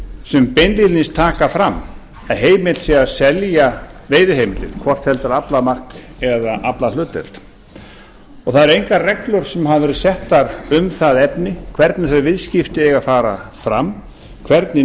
sem beinlínis taka fram að heimilt sé að selja veiðiheimildir hvort heldur aflamark eða aflahlutdeild það eru engar reglur sem hafa verið settar um það efni hvernig þau viðskipti eigi að fara fram hvernig